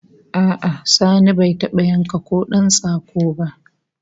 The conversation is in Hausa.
A'a Sani bai taba yanka kodan tsako ba